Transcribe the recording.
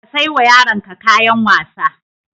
Ka sai wa yaronka kayan wasa.